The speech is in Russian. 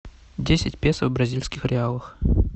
десять песо в бразильских реалах